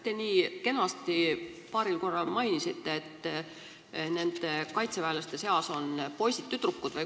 Te nii kenasti paaril korral mainisite, et nende kaitseväelaste seas on poisid-tüdrukud.